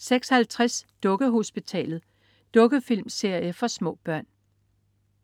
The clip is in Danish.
06.50 Dukkehospitalet. Dukkefilmserie for små børn